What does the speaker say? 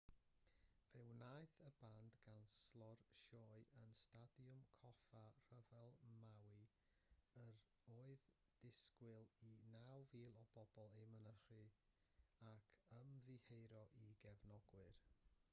fe wnaeth y band ganslo'r sioe yn stadiwm coffa rhyfel maui yr oedd disgwyl i 9,000 o bobl ei mynychu ac ymddiheuro i gefnogwyr